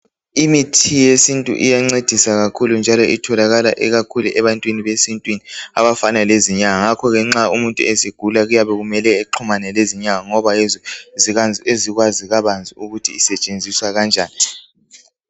Imithi yesintu iyancedisa kakhulu njalo itholakala ikakhulu ebantwini besintwini abafana lezinyanga ngakho ke nxa umuntu esegula kuyabe kumele exhumane lezinyanga ngoba yizo ezikwazi kabanzi ukuthi isetshenziswa kanjani